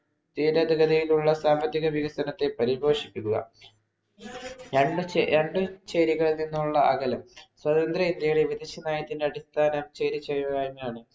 Ccategory യിലുള്ള സാമ്പത്തിക വികസനത്തെ പരിഭോഷിപ്പിക്കുക രണ്ട് രണ്ടു ചേരികളിൽ നിന്നുളള അകലം സ്വതന്ത്ര ഇന്ത്യയിലെ വിദേശനയത്തിന്‍റെ അടിസ്ഥാനം ചേരിചേരുക എന്നാണ്.